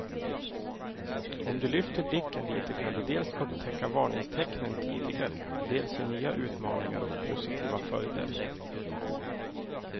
Om du lyfter blicken lite kan du dels upptäcka varningstecknen tidigare, dels se nya utmaningar och positiva följder.